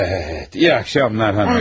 Bəli, yaxşı axşamlar, xanımlar.